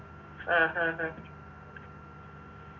ആ ആഹ് ആഹ്